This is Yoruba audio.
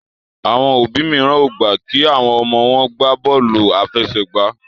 Àwọn òbí míràn o gbà kí àwọn ọmọ wón gbàbóòlù afẹsẹgba.